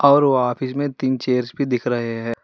और वह ऑफिस में तीन चेयर्स भी दिख रहे हैं।